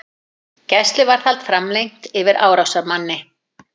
Gæsluvarðhald framlengt yfir árásarmanni